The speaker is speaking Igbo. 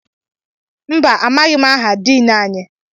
Mbà, amaghị aha Diin anyị.